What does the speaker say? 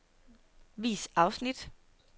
Vis afsnit.